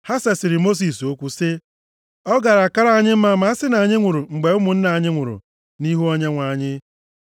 Ha sesịrị Mosis okwu sị, “Ọ gaara akara anyị mma ma a sị na anyị nwụrụ mgbe ụmụnna anyị nwụrụ nʼihu Onyenwe anyị.